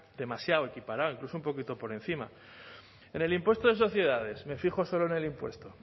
demasiado equiparado incluso un poquito por encima en el impuesto de sociedades me fijo solo en el impuesto